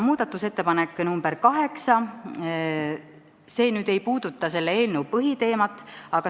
Muudatusettepanek nr 8 ei puuduta selle eelnõu põhiteemat.